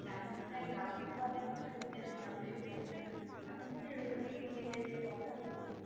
আমার হচ্ছে যে কথা গুলো